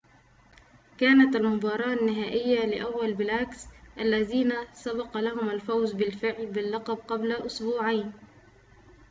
كانت المباراة النهائية ل أول بلاكس الذين سبق لهم الفوز بالفعل باللقب قبل أسبوعين